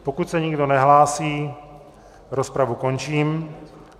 Pokud se nikdo nehlásí, rozpravu končím.